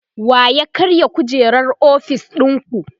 wa ya karya kujerar ofis ɗinku?